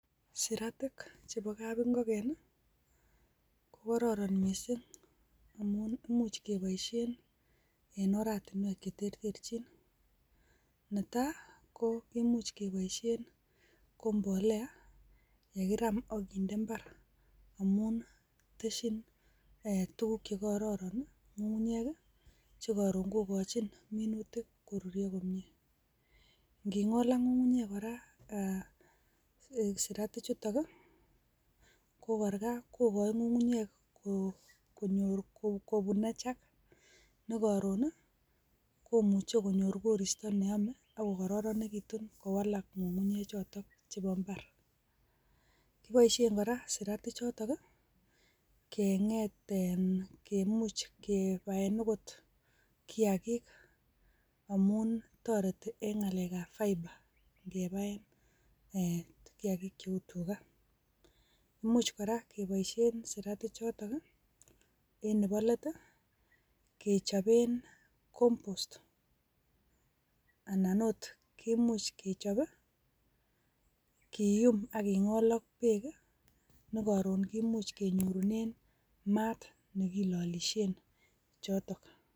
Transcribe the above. Saraatik chebo kapingogen kokororon missing, amun much iboishien en oratinwek cheterterchin. Netai koimuch keboishien, ko mbolea chekiraam ak kinde mbaar. Amun testyiin tuguuk che kororon ng'ung'unyek i,chekoron kokochin minutik koruryoo komie. Ingingool ak ngungunyek kora, sirsatikchuton kokochin ngungunyek kobunechak nekoron komuche konyoor koristoo neome ak kokororonekitun ngungunyechotok. Kiboishien kora siraatichotok kenget e,kemuch kebaen okot kiyaagiik. Amun toreti en ngakekab fibre, ingebaen e kiyaagik cheu tugaa. Imuch kora keboishien siraatik chotok ,en neboo let, kechoben compost .Anan ot much kechob i,kiyuum ak kingool ak beek i,nekoron kimuch kenyoorunen maat kilolisien chotok.